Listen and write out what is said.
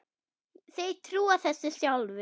Þeir trúa þessu sjálfir